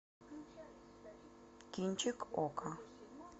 кинчик окко